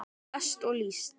lest list líst